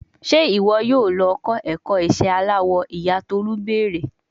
Ṣe iwọ yoo lọ kọ ẹkọ iṣẹ alawọ, iya Tolu beere